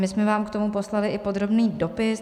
My jsme vám k tomu poslali i podrobný dopis.